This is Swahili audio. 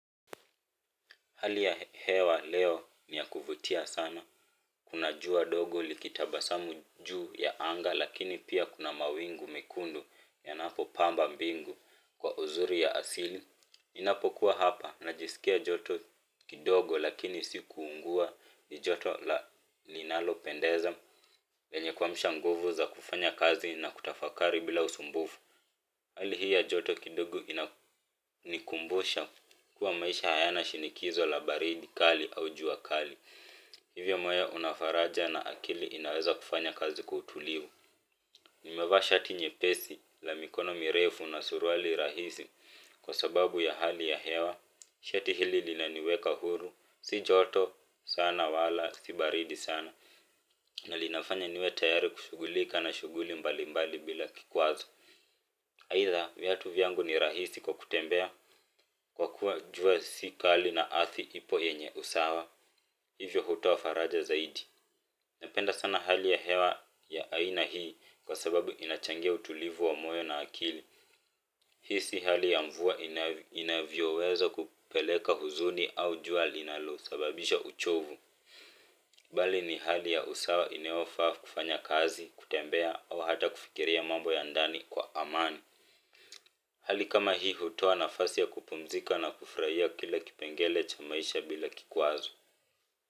Hali ya hewa leo niyakuvutia sana. Kuna jua dogo likitabasamu juu ya anga lakini pia kuna mawingu mekundu yanapo pamba mbingu kwa uzuri ya asili ninapo kuwa hapa na jisikia joto kidogo lakini sikuungua ni joto la ninalo pendeza. Lenye kuamsha nguvu za kufanya kazi na kutafakari bila usumbufu. Hali hii ya joto kidogo ina ni kumbusha kuwa maisha hayana shinikizo la baridi kali au jua kali. Hivyo moyo unafaraja na akili inaweza kufanya kazi kwa utulivu. Nimevaa shati nyepesi la mikono mirefu na suruali rahisi kwa sababu ya hali ya hewa. Shati hili lina niweka huru. Si joto sana wala si baridi sana. Na linafanya niwe tayari kushughulika na shughuli mbali mbali bila kikwazo Aidha, viatu vyangu ni rahisi kwa kutembea kwa kuwa jua si kali na athi ipo yenye usawa. Hivyo hutoa faraja zaidi. Napenda sana hali ya hewa ya aina hii kwa sababu inachangia utulivu wa moyo na akili. Hii di hali ya mvua inavyo weza kupeleka huzuni au jua linalo sababisha uchovu. Bali ni hali ya usawa inayofa kufanya kazi kutembea au hata kufikiria mambo ya ndani kwa amani. Hali kama hii hutoa nafasi ya kupumzika na kufurahia kila kipengele cha maisha bila kikwazo.